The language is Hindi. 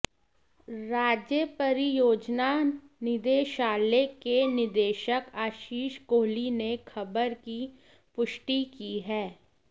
राज्य परियोजना निदेशालय के निदेशक आशीष कोहली ने खबर की पुष्टि की है